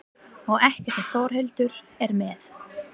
Og ekkert ef Þórhildur er með.